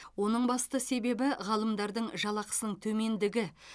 оның басты себебі ғалымдардың жалақысының төмендігі